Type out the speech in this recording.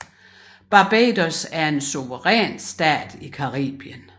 Barbados er en suveræn stat i Caribien